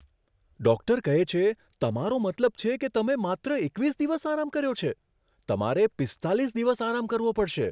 Doctor કહે છે, તમારો મતલબ છે કે તમે માત્ર એકવીસ દિવસ આરામ કર્યો છે? તમારે પીસ્તાલીસ દિવસ આરામ કરવો પડશે.